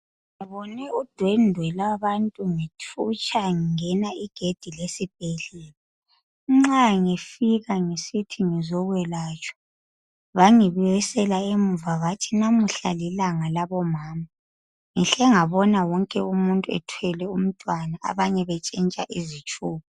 ngibone udwendwe lwabantu ngithutsha ngingena igedi lesibhedlela nxa ngifika ngisithi ngizokwelatshwa bangibuyisela emuva bathi namuhla lilanga labo mama ngihle ngabona wonke umuntu ethwele umntwana abanye betshintsha izitshubo